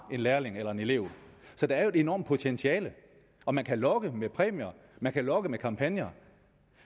en lærling eller en elev så der er jo et enormt potentiale og man kan lokke med præmier man kan lokke med kampagner